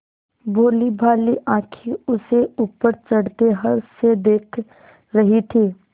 भोलीभाली आँखें उसे ऊपर चढ़ते हर्ष से देख रही थीं